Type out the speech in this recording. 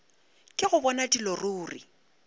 ke go bona dilo ruri